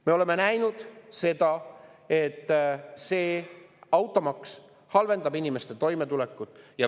Me oleme näinud, et automaks halvendab inimeste toimetulekut.